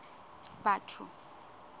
batho